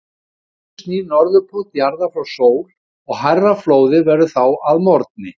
Um hávetur snýr Norðurpóll jarðar frá sól og hærra flóðið verður þá að morgni.